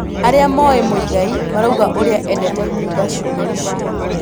Arĩa moĩ Muigai marauga ũrĩa endete kuga ciugo icio